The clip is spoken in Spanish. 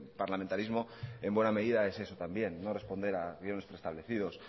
parlamentarismo en buena medida es eso también no responder a guiones preestablecidos